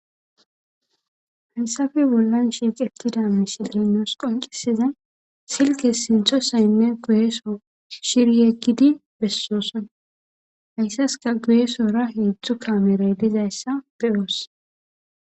haysafe bollan shiqetida misillenos qonqisizay silke sintosaynne goyeso shiryeggidi bessosona hayssaska goyesora heedzdzu kameray dizayssa beyoos